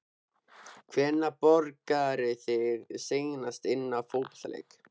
Hvenær borgaðirðu þig seinast inná fótboltaleik?